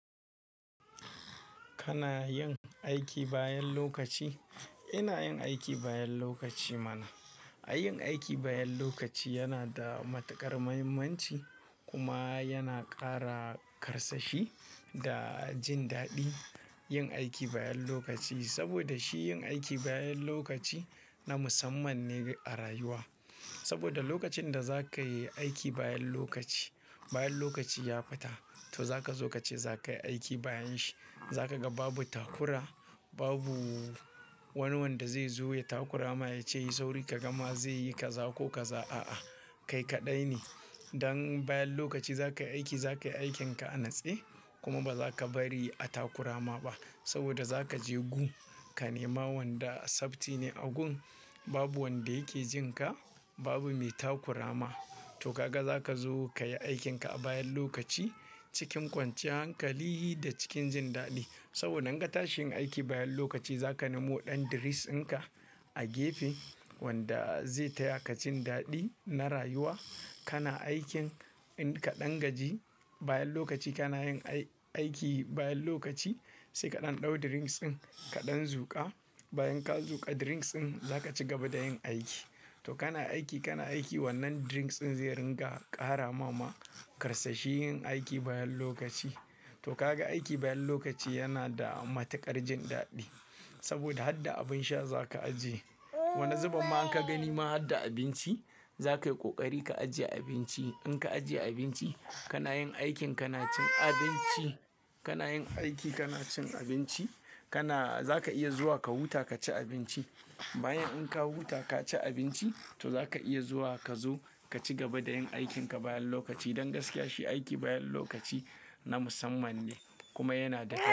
Kana yin aiki bayan lokaci? Ina yin aiki bayan lokaci mana. A yin aiki bayan lokaci yana da matuƙar muhimmanci kuma yana ƙara karsashi da jin daɗi yin aiki bayan lokaci. Saboda shi yin aiki bayan lokaci na musamman ne a rayuwa. Saboda lokacin da za ka yi aiki bayan lokaci, bayan lokaci ya fita, to za ka zo kace za ka yi aiki bayan shi. Za ka ga babu takura, babu wani wanda zai zo ya takurama ya ce yi sauri ka gama zai yi ka za ko ka za, a'a. Kai kaɗai ne. Dan bayan lokaci za ka yi aiki, za ka yi aikinka a nutse kuma ba za ka bari a takurama ba. Saboda za ka je gun, ka nema wanda tsafti ne a gun, babu wanda yake jin ka, babu mai takurama. To kaga za ka zo ka yi aikinka a bayan lokaci cikin kwanciyan hankali da cikin jin daɗi. Saboda nan gata shi yin aiki bayan lokaci za ka nemo ɗan drinks ɗinka a gefe wanda zai taya ka jin daɗi na rayuwa. Kana aikin in ka ɗan gaji, bayan lokaci kana yin aiki bayan lokaci sai kaɗan ɗau drinks ɗin kaɗan zuƙa. Bayan ka zuƙa drinks ɗin za ka ci gaba da yin aiki. To kana aiki, kana aiki wannan drinks ɗin zai ringa ƙara mama karsashi yin aiki bayan lokaci. To kaga aiki bayan lokaci yana da matuƙar jin daɗi. Saboda har da abin sha za ka ajiye. Wani zuban ma in ka gani ma har da abinci, za ka yi ƙoƙari ka ajiye abinci. In ka ajiye abinci kana yin aikin ka na cin abinci, kana yin aiki kana cin abinci, kana za ka iya zuwa ka huta ka ci abinci. Bayan in ka huta ka ci abinci to za ka iya zuwa ka zo ka ci gaba da yin aikinka bayan lokaci. Don gaskiya shi aiki bayan lokaci na musamman ne kuma yana da.